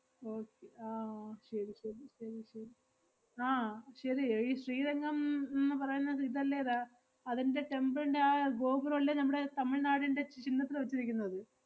okay ആഹ് ശെരി ശെരി ശെരി ശെരി ആഹ് ശെരി ഏർ ഈ ശ്രീരംഗം ~ന്ന് പറയുന്ന ഇതല്ലേ ദാ~ അതിന്‍റെ temple ന്‍റെ ആ ഗോപുരം അല്ലെ നമ്മടെ തമിഴ്നാടിന്‍റെ ച്~ ചിഹ്നത്തില് വെച്ചിരിക്കുന്നത്?